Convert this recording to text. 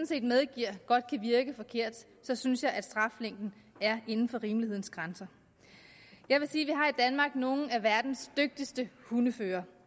set medgiver godt kan virke forkert synes jeg at straflængden er inden for rimelighedens grænse jeg vil sige at nogle af verdens dygtigste hundeførere